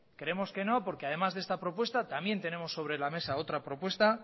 creemos que no porque además de esta propuesto también tenemos sobre la mesa otra propuesta